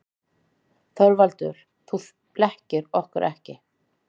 ÞORVALDUR: Þið blekkið okkur ekki.